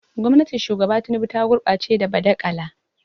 Gwamnatin Shugaba Tinubu ta gurɓace da badakala.